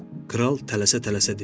Kral tələsə-tələsə dedi.